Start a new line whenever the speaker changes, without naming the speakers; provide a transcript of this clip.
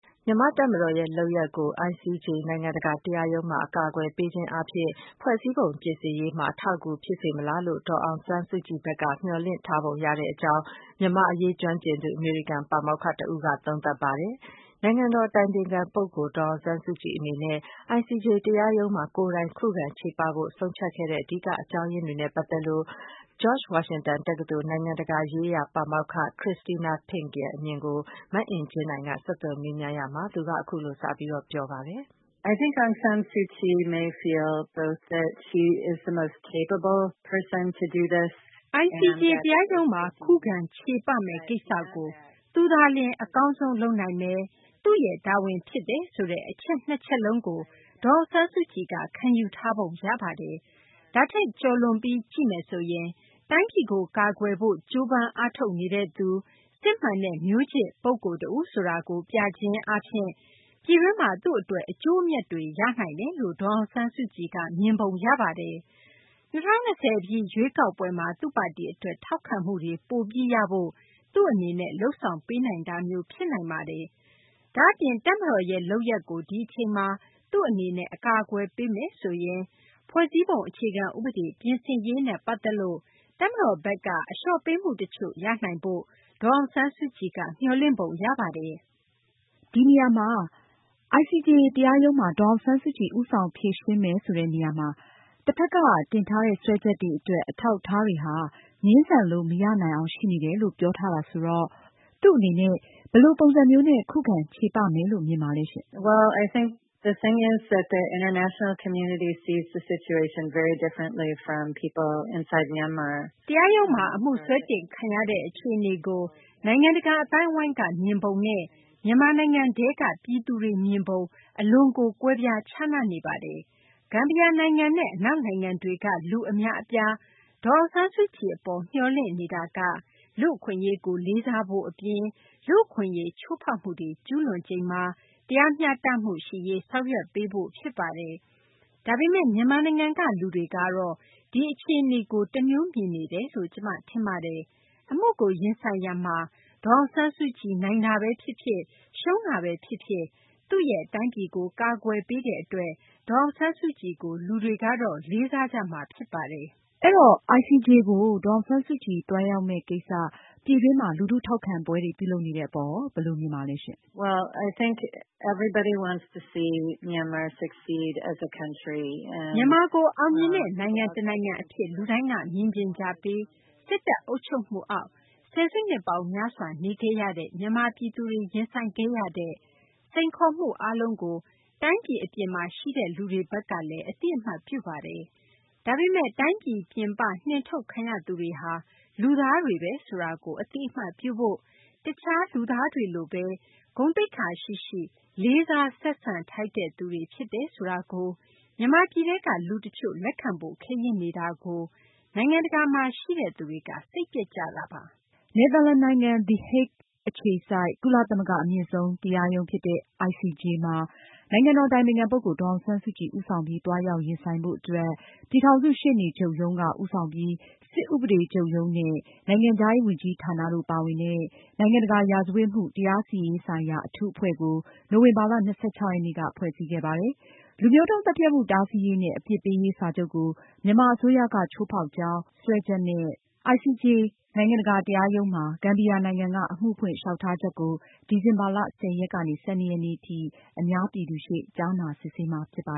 မြန်မာတပ်မတော်ရဲ့ လုပ်ရပ်ကို ICJ နိုင်ငံတကာတရားရုံးမှာ အကာအကွယ်ပေးခြင်းအားဖြင့် ဖွဲ့စည်းပုံပြင်ဆင်ရေးမှာ အထောက်အကူဖြစ်စေမလားလို့ ဒေါ်အောင်ဆန်းစုကြည်ဘက်က မျှော်လင့်ထားပုံရကြောင်း မြန်မာ့အရေးကျွမ်းကျင်သူ အမေရိကန်ပါမောက္ခတဦးက သုံးသပ်ပါတယ်။ နိုင်ငံတော်အတိုင်ပင်ခံပုဂ္ဂိုလ် ဒေါ်အောင်ဆန်းစုကြည်အနေနဲ့ ICJ တရားရုံးမှာ ကိုယ်တိုင်ခုခံချေပဖို့ ဆုံးဖြတ်ခဲ့တဲ့ အဓိက အကြောင်းအရင်းတွေနဲ့ပတ်သက်လို့ George Washington တက္ကသိုလ် နိုင်ငံတကာရေးရာ ပါမောက္ခ Christina Fink ရဲ့အမြင်ကို မအင်ကြင်းနိုင်က ဆက်သွယ်မေးမြန်းရ
ာမှာ သူက အခုလိုစပြောပါတယ်။
“ICJ တရားရုံးမှာခုခံချေပမယ့်ကိစ္စကို သူသာလျှင် အကောင်းဆုံးလုပ်နိုင်မယ်၊ သူ့ရဲ့တာဝန်ဖြစ် တယ်ဆိုတဲ့ အချက်နှစ်ချက်လုံးကို ဒေါ်အောင်ဆန်းစုကြည်က ခံယူထားပုံရပါတယ်။ ဒါထက်ကျော်လွန်ပြီး ကြည့်မယ်ဆိုရင်- တိုင်းပြည်ကို ကာကွယ်ဖို့ကြိုးပမ်းအားထုတ်နေတဲ့သူ၊ စစ်မှန်တဲ့ မျိုးချစ်ပုဂ္ဂိုလ်တဦးဆိုတာကို ပြခြင်းအားဖြင့် ပြည်တွင်းမှာ သူ့အတွက် အကျိုးအမြတ်တွေ ရနိုင်တယ်လို့ ဒေါ်အောင်ဆန်းစုကြည်က မြင်ပုံရပါတယ်။ ၂၀၂၀ပြည့်ရွေးကောက်ပွဲမှာ သူ့ပါတီအတွက် ထောက်ခံမှုတွေ ပိုပြီးရဖို့ သူ့အနေနဲ့ လုပ်ဆောင်ပေးနိုင်တာမျိုးဖြစ်နိုင်ပါတယ်။ ဒါအပြင် တပ်မတော်ရဲ့ လုပ်ရပ်ကို ဒီအချိန်မှာ သူ့အနေနဲ့ အကာအကွယ်ပေးမယ်ဆိုရင် ဖွဲ့စည်းပုံအခြေခံဥပဒေ ပြင်ဆင်ရေးနဲ့ ပတ်သက်လို့ တပ်မတော်ဘက်က အလျော့ပေးမှုတချို့ ရနိုင်ဖို့ ဒေါ်အောင်ဆန်းစုကြည်က မျှော်လင့်ပုံရပါတယ်။” အင်ကြင်းနိုင်။ ။ ICJ တရားရုံးမှာ ဒေါ်အောင်ဆန်းစုကြည် ဦးဆောင်ဖြေရှင်းမယ်ဆိုတဲ့နေရာမှာ တဖက်က တင်ထားတဲ့ စွဲချက်တွေအတွက် အထောက်အထားတွေဟာ ငြင်းဆန်လို့ မရနိုင်အောင်ရှိနေတယ်လို့ ပြောထားတာဆိုတော့ သူ့အနေနဲ့ ဘယ်လိုပုံစံမျိုးနဲ့ ခုခံခြေပမယ်လို့ မြင်ပါသလဲရှင့်။ Christina Fink ။ ။ တရားရုံးမှာ အမှုစွဲတင်ခံရတဲ့ အခြေအနေကို နိုင်ငံတကာအသိုင်းအဝိုင်းက မြင်ပုံနဲ့ မြန်မာနိုင်ငံထဲက လူတွေ မြင်ပုံ အလွန်ကို ကွဲပြားခြားနားနေပါတယ်။ ဂမ်ဘီယာနိုင်ငံနဲ့အနောက်နိုင်ငံတွေက ဒေါ်အောင်ဆန်းစုကြည်အပေါ် မျှော်လင့်နေတာက လူ့အခွင့်အရေးကို လေးစားဖို့ အပြင် လူ့အခွင့်အရေးချိုးဖောက်မှုတွေ ကျူးလွန်ချိန်မှာ တရားမျှတမှုရှိရေး ဆောင်ရွက်ပေးဖို့ ဖြစ်ပါတယ်။ ဒါပေမယ့် မြန်မာနိုင်ငံက လူတွေကတော့ ဒီအခြေအနေကို တမျိုးမြင်နေတယ်လို့ ကျမထင်ပါတယ်။ အမှုကိုရင်ဆိုင်ရမှာ ဒေါ်အောင်ဆန်းစုကြည် နိုင်တာပဲဖြစ်ဖြစ်၊ ရှုံးတာပဲ ဖြစ်ဖြစ် သူ့ရဲ့ တိုင်းပြည်ကို ကာကွယ်ပေးတဲ့အတွက် ဒေါ်အောင်ဆန်းစုကြည်ကို မြန်မာပြည်က လူတွေကတော့ လေးစားကြမှာဖြစ်ပါတယ်။ အင်ကြင်းနိုင်။ ။ အဲတော့ ICJ ကို ဒေါ်အောင်ဆန်းစုကြည် သွားရောက်မယ့်ကိစ္စ ပြည်တွင်းမှာ လူထုထောက်ခံပွဲတွေ ပြုလုပ်နေတဲ့အပေါ် ဘယ်လို မြင်ပါလဲရှင့်။
Christina Fink ။ ။ မြန်မာ
ကို အောင်မြင်တဲ့ နိုင်ငံတနိုင်ငံအဖြစ် လူတိုင်းကမြင်ချင်ကြပြီး စစ်တပ်အုပ်ချုပ်မှုအောက် ဆယ်စုနှစ်ပေါင်းများစွာနေခဲ့ရတဲ့ မြန်မာပြည်သူတွေ ရင်ဆိုင်ခဲ့ရတဲ့ စိန်ခေါ်မှုအားလုံးကို တိုင်းပြည်အပြင်မှာရှိတဲ့ လူတွေဘက်ကလည်း အသိအမှတ်ပြုပါတယ်။ ဒါပေမယ့် တိုင်းပြည်ပြင်ပ နှင်ထုတ်ခံရသူတွေဟာ လူသားတွေပဲဆိုတာကို အသိအမှတ်ပြုဖို့၊ အခြားလူသားတွေလိုပဲ ဂုဏ်သိက္ခာရှိရှိ လေးစားဆက်ဆံထိုက်တဲ့သူတွေဖြစ်တယ်ဆိုတာကို မြန်မာပြည်ထဲက လူတချို့ လက်ခံဖို့ ခဲယဉ်းနေတာကို နိုင်ငံတကာမှာရှိတဲ့ သူတွေက စိတ်ပျက်ကြတာပါ။ နယ်သာလန်နိုင်ငံ the Hague အခြေစိုက် ကုလသမဂ္ဂ အမြင့်ဆုံးတရားရုံးဖြစ်တဲ့ ICJ မှာ နိုင်ငံတော်အတိုင်ပင်ခံပုဂ္ဂိုလ် ဒေါ်အောင်ဆန်းစုကြည်ဦးဆောင်ပြီး သွားရောက်ရင်ဆိုင်ဖို့အတွက် ပြည်ထောင်စုရှေ့နေချုပ်ရုံးက ဦးဆောင်ပြီး စစ်ဥပဒေချုပ်ရုံးနဲ့ နိုင်ငံခြားရေးဝန်ကြီးဌာနတို့ ပါဝင်တဲ့ နိုင်ငံတကာရာဇဝတ်မှု တရားစီရင်ရေးဆိုင်ရာ အထူးအဖွဲ့ကို နိုဝင်ဘာလ ရက်နေ့က ဖွဲ့စည်းခဲ့ပါတယ်။ လူမျိုးတုန်းသတ်ဖြတ်မှု တားဆီးရေးနဲ့ အပြစ်ပေးရေး စာချုပ်ကို မြန်မာအစိုးရက ချိုးဖောက်ကြောင်း စွဲချက်နဲ့ ICJ နိုင်ငံတကာတရားရုံးမှာ ဂမ်ဘီယာနိုင်ငံက အမှုဖွင့် လျောက်ထားချက်ကို ဒီဇင်ဘာလ ၁၀ ရက် ကနေ ၁၂ ရက်နေ့ထိ အများပြည်သူ ရှေ့ကြားနာစစ်ဆေးမှာ ဖြစ်ပါ